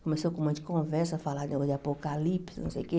Começou com um monte de conversa, falar negócio de apocalipse, não sei o quê.